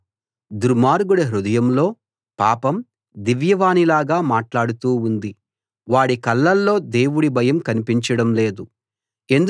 దుర్మార్గుడి హృదయంలో పాపం దివ్యవాణిలాగా మాట్లాడుతూ ఉంది వాడి కళ్ళల్లో దేవుడి భయం కన్పించడం లేదు